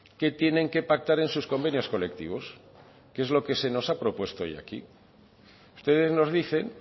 qué tienen que pactar en sus convenios colectivos que es lo que se nos ha propuesto hoy aquí ustedes nos dicen